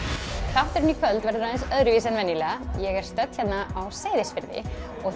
þátturinn í kvöld verður aðeins öðruvísi en venjulega ég er stödd hérna á Seyðisfirði